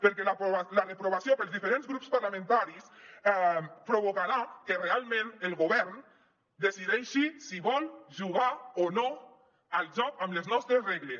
perquè la reprovació pels diferents grups parlamentaris provocarà que realment el govern decideixi si vol jugar o no al joc amb les nostres regles